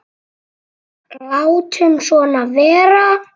Látum svona vera.